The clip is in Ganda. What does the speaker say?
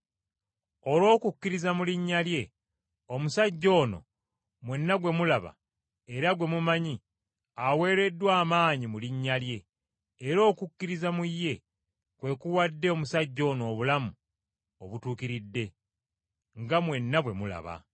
Olw’okukkiriza mu linnya lye, omusajja ono, mwenna gwe mulaba era gwe mumanyi aweereddwa amaanyi mu linnya lye, era okukkiriza mu ye kwe kuwadde omusajja ono obulamu obutuukiridde nga mwenna bwe mulaba.